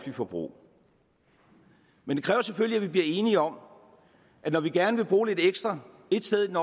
forbrug men det kræver selvfølgelig at vi bliver enige om at når vi gerne vil bruge lidt ekstra ét sted i den